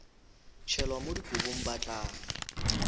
tšhelwa mo dikobong ba tla